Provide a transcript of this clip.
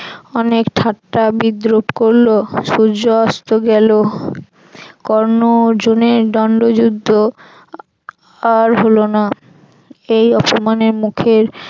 অনেক ঠাট্টা বিদ্রুপ করল সূর্য অস্ত গেল কর্ণ অর্জুনের দন্ড যুদ্ধ আর হল না। এই অপমানের মুখে